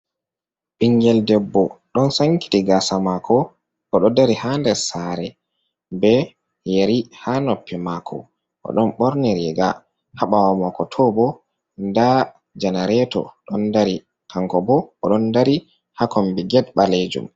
Ɓingel ɓeɓɓo, ɗon sankiti gasa mako. Oɗo ɗari ha nɗer sare. Ɓe yeri ha noppe mako, oɗon borni riga. Ha ɓawo mako toɓo, nɗa janareto ɗon ɗari. Kanko ɓo oɗon ɗari ha komɓi get ɓalejum.